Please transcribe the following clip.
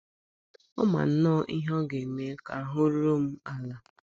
Ọ ma nnọọ ihe ọ ga - eme ka ahụ́ ruo m ala.